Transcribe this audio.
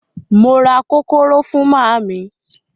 Mo ra kókóró fún màmá mi.